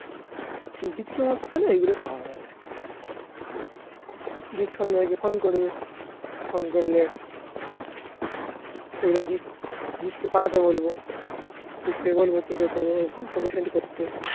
হুম. জিৎকে মদ খেলে এইগুলো পাওয়া যাবে. দিস সঞ্জয়কে phone করবে phone করলে পাঠাতে বলবো তোকে send করতে